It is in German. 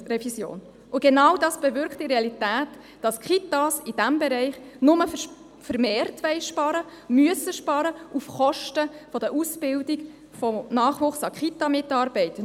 Genau dies bewirkt in der Realität, dass die Kitas in diesem Bereich nur vermehrt sparen wollen und sparen müssen – auf Kosten der Ausbildung des Nachwuchses an Kitamitarbeitenden.